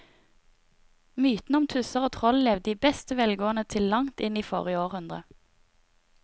Mytene om tusser og troll levde i beste velgående til langt inn i forrige århundre.